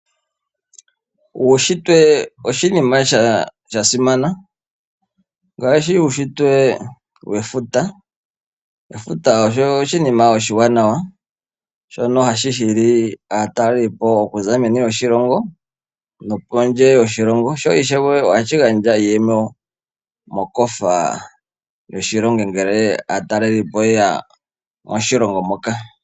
Uushitwe oshinima sha simana ngaashi uushitwe wefuta, efuta osho oshinima oshiwanawa hashi hili aatalelipo kuza meni lyoshilongo nopondje yoshilongo sho ishewe ohashi gandja iiyemo mokofa yoshilongo ngele aatalelipo yeya moshilongo moka.